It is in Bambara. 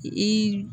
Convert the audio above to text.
I